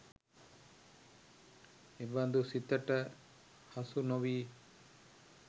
එබඳු සිතට හසු නොවී